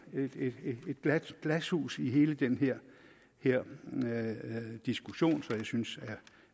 glashus i hele den her her diskussion som jeg synes